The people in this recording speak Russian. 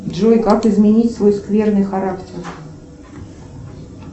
джой как изменить свой скверный характер